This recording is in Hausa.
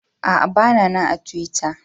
Aa, ba na nan a tiwitta.